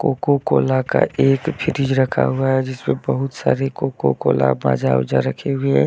Coca Cola का एक fridge रखा हुआ है। जिसपे बहुत सारे कोकोकोला माजा ओजा रखे हुए है।